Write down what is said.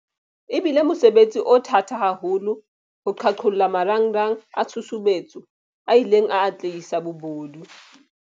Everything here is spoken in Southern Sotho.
E bile mosebetsi o thata haholo wa ho qhaqholla marangrang a tshusumetso a ileng a atlehisa bobodu.